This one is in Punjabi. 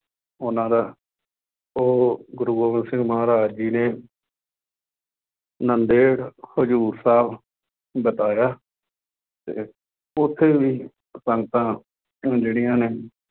ਉਹਨਾ ਦਾ ਉਹ ਗੁਰੂ ਗੋਬਿੰਦ ਸਿੰਘ ਮਹਾਰਾਜ ਜੀ ਨੇ ਨਾਂਦੇੜ, ਹਜ਼ੂਰ ਸਾਹਿਬ ਬਿਤਾਇਆ ਅਤੇ ਉੱਥੇ ਵੀ ਸੰਗਤਾਂ ਜਿਹੜੀਆਂ ਨੇ